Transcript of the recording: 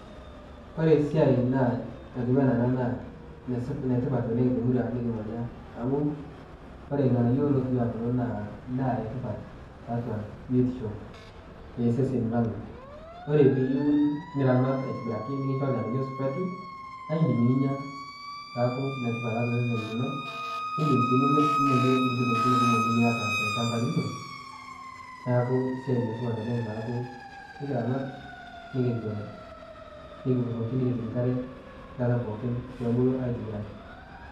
Ore esiai naa natiu ena ena naa enetipat oooleng to murua nikimanya amu ore nganayio lotiu kulo naa aa edaa etipat tiatua biotisho eseseni lang. Ore pee iun niramat atibiraki nikicho irnganayio supati naa idim ninya, neaku netip tiatua sesen lino, nidim si nimir ninyayie kulie tokitin kumok nimiata te lchamba lino neaku esiai letipat oooleng neaku tenikiramat nicho nikikuroki nikicho enkare pee ebulu atibiraki.